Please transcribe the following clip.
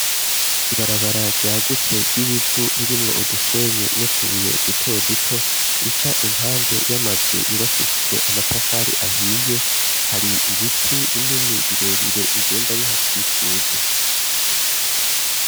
Ibarabara ryagutse ry'ibivu ririmwo udusenyi nutubuye duto duto ,rica impande y'amazu yubakishijwe amatafari ahiye ,hari ibiti binini birebire bigenda bihakikuje.